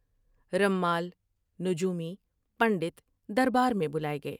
رمال ، نجومی ، پنڈت دربار میں بلائے گئے ۔